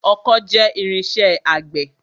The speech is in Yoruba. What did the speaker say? Ọkọ́ jẹ́ irinṣẹ́ àgbẹ̀.